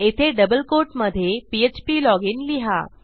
येथे double quote मधे फ्प्लॉजिन लिहा